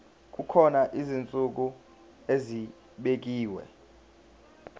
kukhona izinsuku ezibekiwe